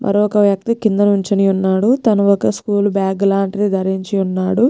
మరొక వ్యక్తి కిందనుంచొని ఉన్నాడుతను ఒక్క స్కూల్ బాగ్ లాంటిది ధరించి ఉన్నాడు.